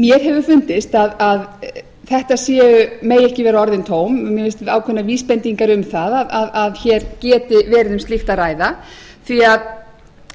mér hefur fundist að þetta megi ekki vera orðin tóm mér finnst ákveðnar vísbendingar um það að hér geti verið um slíkt að ræða því að